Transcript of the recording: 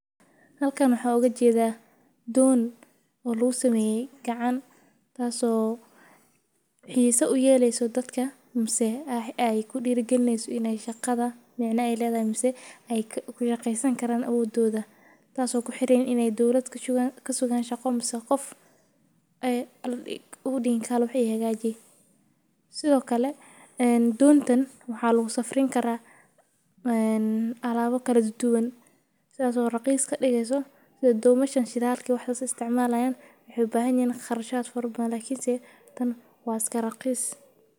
Halkan waxan oga jeda don oo lagu sameye lacag tas oo dadka ku xireyso in ee dowlada waxba oga bahanin sithokale donta waxaa lagu safrin karaa waxyala kala daduwan sitha domasha shidalka isticmalan waxee u bahan yahan qarashaad balse tan waaa iska raqis.